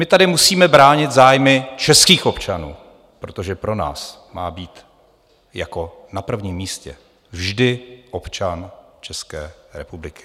My tady musíme bránit zájmy českých občanů, protože pro nás má být jako na prvním místě vždy občan České republiky.